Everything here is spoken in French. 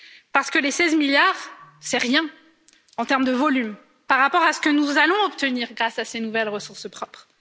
Parce que les 16 milliards, ce n'est rien en terme de volume par rapport à ce que nous allons obtenir grâce à ces nouvelles ressources propres.